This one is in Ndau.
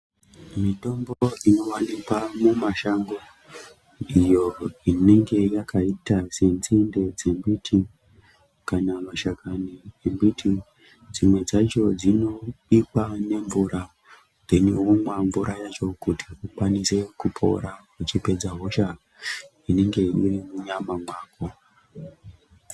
Mitombo inowanikwa mumashango, ndiyo inenge yakaita senzinde dzemiti kana mashakani embti, dzimwe dzacho dzinobikwa nemvura, womwa mvura yacho kuti ukwanise kupora uchipedza hosha inenge irimunyama mwako.